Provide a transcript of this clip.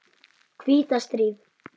hvíta stríð.